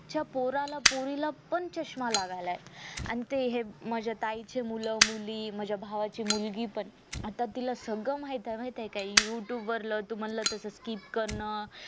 च्या पोराला पोरीला पण चश्मा लागायलाय आणि ते हे माझ्या ताईचे मूल मुली माझ्या भावाची मुलगी पण आता तिला सगळं माहितेय माहितेय का youtube वरल तुम्हाला तस skip करण